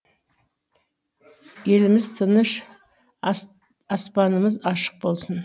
еліміз тыныш аспанымыз ашық болсын